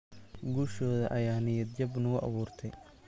Guushooda ayaa niyad-jab nagu abuurtay.